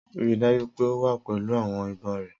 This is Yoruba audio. Rii daju pe o wa pẹlu awọn ibon rẹ!